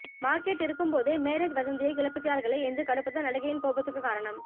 market இருக்கும் போதே marriage வதந்தியை கிளப்புகிறார்களே என்ற கடுப்புதான் நடிகையின் கோபத்துக்கு காரணம்